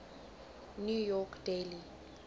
new york daily